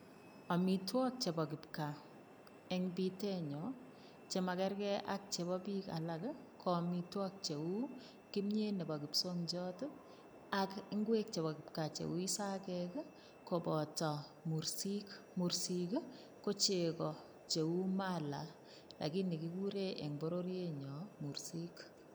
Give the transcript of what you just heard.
Amitwogik chebo kipkaa eng bitenyo cham magerge ak chebo biik alak, ko amitwogik cheu; kimyet nebo kipsongiot, ak ingwek chebo kipkaa cheu isagek koboto, koboto mursik. Mursik ko chego cheu mala lakini kigure eng bororienyo mursik.